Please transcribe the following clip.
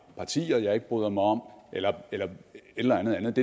partier jeg ikke bryder mig om eller et eller andet andet